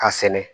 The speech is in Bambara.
A sɛnɛ